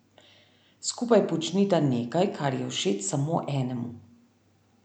Skupaj počnita nekaj, kar je všeč samo enemu.